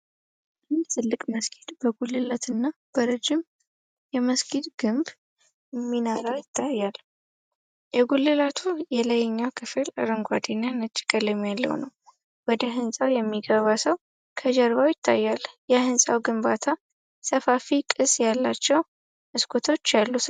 አንድ ትልቅ መስጊድ በጉልላትና በረዥም የመስጊድ ግንብ (ሚናራ) ይታያል። የጉልላቱ የላይኛው ክፍል አረንጓዴና ነጭ ቀለም ያለው ነው። ወደ ሕንጻው የሚገባ ሰው ከጀርባው ይታያል። የሕንጻው ግንባታ ሰፋፊ ቅስ ያላቸው መስኮቶች ያሉት ነው።